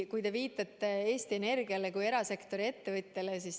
Te viitate Eesti Energiale kui erasektori ettevõttele.